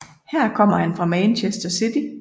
Her kom han fra Manchester City